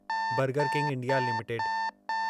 burger King India limited